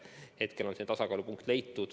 Hetkel on tasakaalupunkt leitud.